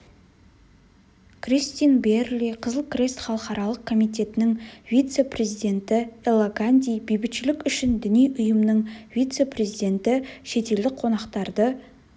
кристин биэрли қызыл крест халықаралық комитетінің вице-президенті элла ганди бейбітшілік үшін діни ұйымның вице-президенті шетелдік қонақтарды